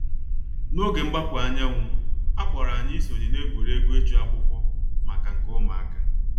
N’oge mgbapụ anyanwụ, a kpọrọ anyị isonye na egwuregwu ịchụ akwụkwọ maka nke ụmụaka.